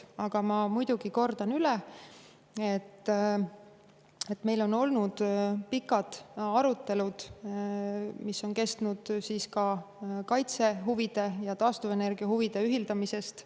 Aga ma kordan üle, et meil on olnud pikad arutelud ka kaitsehuvide ja taastuvenergia huvide ühildamise kohta.